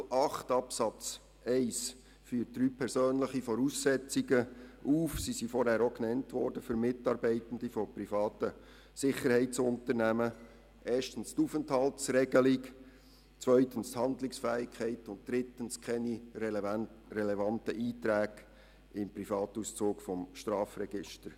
Artikel 8 Absatz 1 führt drei persönliche Voraussetzungen für Mitarbeitende privater Sicherheitsunternehmen auf: erstens die Aufenthaltsregelung, zweitens die Handlungsfähigkeit und drittens keine relevanten Einträge im Privatauszug des Strafregisters.